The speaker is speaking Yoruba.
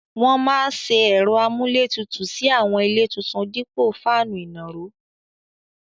Wọ́n máa se ẹ̀rọ amúlétutù sí àwọn ilé tuntun dípò fáànù ìnàró.